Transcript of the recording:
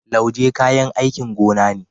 Lauje kayan aikin gona ne.